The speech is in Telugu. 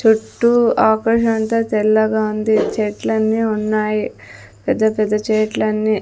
చుట్టూ ఆకాశమంతా తెల్లగా ఉంది చెట్లన్నీ ఉన్నాయి పెద్ద పెద్ద చేట్లన్నీ.